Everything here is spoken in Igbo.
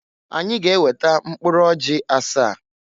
Anyị ga-eweta mkpụrụ ọjị asaa.